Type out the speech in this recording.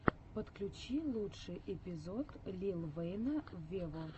подключи лучший эпизод лил вэйна вево